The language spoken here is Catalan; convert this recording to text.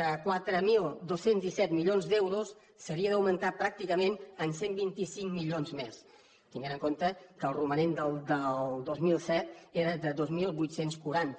de quatre mil dos cents i disset milions d’euros s’havia d’augmentar pràcticament en cent i vint cinc milions més tenint en compte que el romanent del dos mil set era de dos mil vuit cents i quaranta